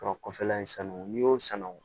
Sɔrɔ kɔfɛla in sanu n'i y'o sanu